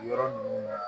Yɔrɔ ninnu na